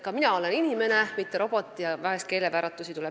Ka mina olen inimene, mitte robot, seega vahel tuleb keelevääratusi ette.